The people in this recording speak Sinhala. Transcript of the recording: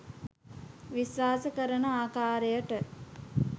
විශ්වාස කරන ආකාරයට